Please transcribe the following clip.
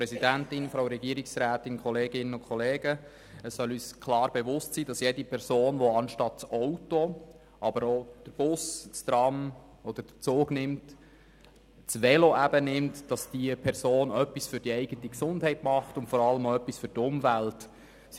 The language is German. Es soll uns klar bewusst sein, dass jede Person, die anstelle des Autos, des Busses, des Trams oder des Zugs eben das Velo nimmt, etwas für die eigene Gesundheit und vor allem für die Umwelt tut.